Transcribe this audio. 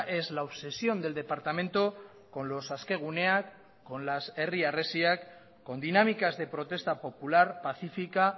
es la obsesión del departamento con los askeguneak con las herri harresiak con dinámicas de protesta popular pacífica